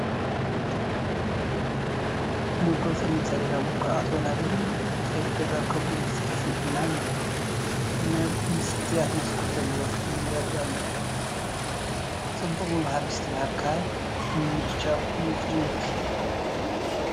ምልኩዕ ፀሊም ሰሌዳ፣ ምልኩዓት ወናብርን ጠረጴዛን ከምኡውን ሰፊሕ ናብ መስትያት መስኮት ዘለዎ ክፍሊ ይርአ ኣሎ፡፡ ፅቡቕ ምምሃር ምስትምሃር ካብዚ ምምችቻው እዩ ዝጅምር፡፡